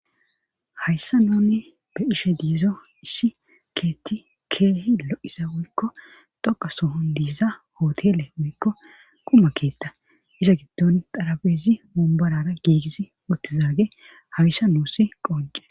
Hayssan nuni be'ishshe diizo issi keetti keehi lo'ioza woykko dhoqa soohon diiza hootele woykko quma keetta iza giddon xarabeezi wombarara giigisi oottizaage hayssa nuussi qoncisees